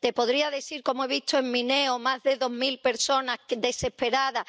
Te podría decir cómo he visto en Mineo a más de dos mil personas desesperadas.